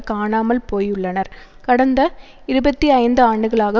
காணாமல் போயுள்ளனர் கடந்த இருபத்தி ஐந்து ஆண்டுகளாக